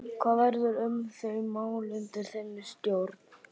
Hvað verður um þau mál undir þinni stjórn?